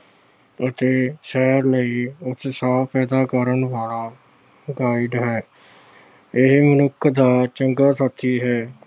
ਅਤੇ ਉਤਸ਼ਾਹ ਕਰਨ ਵਾਲਾ guide ਹੈ। ਇਹ ਮਨੁੱਖ ਦਾ ਚੰਗਾ ਸਾਥੀ ਹੈ।